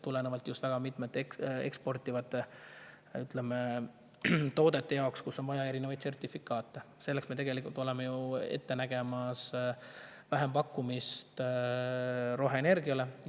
Tulenevalt just sellest, et väga mitmete eksporditavate toodete jaoks on vaja erinevaid sertifikaate, oleme ette nägemas vähempakkumist roheenergiale.